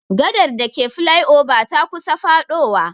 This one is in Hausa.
Gadar dake flai oba ta kusa faɗowa.